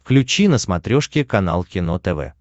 включи на смотрешке канал кино тв